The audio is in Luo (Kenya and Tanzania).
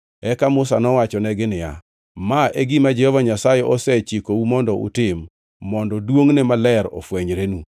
Eka Musa nowachonegi niya, “Ma e gima Jehova Nyasaye osechikou mondo utim, mondo duongʼne maler ofwenyrenu.”